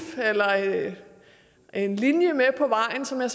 en linje med på vejen som jeg